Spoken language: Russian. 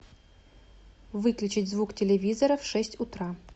выключить звук телевизора в шесть утра